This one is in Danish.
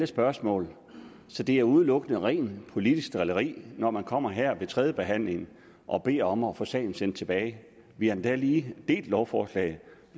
spørgsmål så det er udelukkende rent politisk drilleri når man kommer her ved tredjebehandlingen og beder om at få sagen sendt tilbage vi har endda lige delt lovforslaget